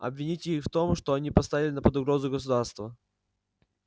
обвините их в том что они поставили под угрозу государство